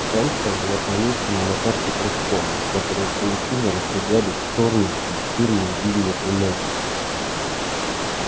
станция была помечена на карте кружком от которого паутиной разбегались чёрные пунктирные линии туннелей